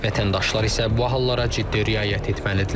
Vətəndaşlar isə bu hallara ciddi riayət etməlidirlər.